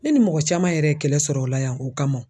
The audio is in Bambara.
Ne ni mɔgɔ caman yɛrɛ ye kɛlɛ sɔrɔ o la yan o kama